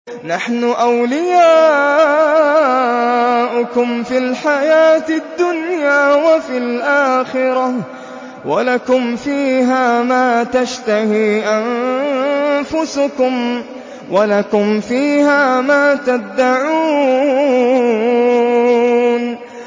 نَحْنُ أَوْلِيَاؤُكُمْ فِي الْحَيَاةِ الدُّنْيَا وَفِي الْآخِرَةِ ۖ وَلَكُمْ فِيهَا مَا تَشْتَهِي أَنفُسُكُمْ وَلَكُمْ فِيهَا مَا تَدَّعُونَ